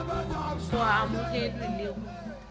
go a amogelwe le go